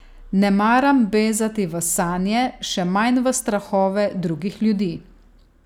Ne maram bezati v sanje, še manj v strahove drugih ljudi.